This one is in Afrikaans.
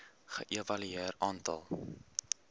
ge evalueer aantal